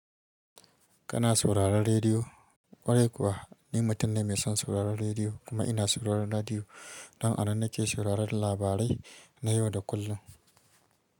Kana sauraron rediyo? Ƙwarai kuwa ni mutum ne mai son sauraron rediyo kuma ina sauraron rediyo don a ban nake sauraron labarai na yau da kullum.